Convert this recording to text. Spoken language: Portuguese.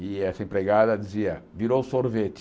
E essa empregada dizia, virou sorvete.